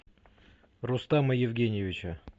рустама евгеньевича